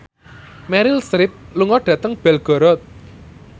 Meryl Streep lunga dhateng Belgorod